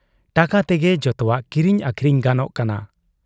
ᱴᱟᱠᱟ ᱛᱮᱜᱮ ᱡᱚᱛᱚᱣᱟᱜ ᱠᱤᱨᱤᱧ ᱟᱹᱠᱷᱨᱤᱧ ᱜᱟᱱᱚᱜ ᱠᱟᱱᱟ ᱾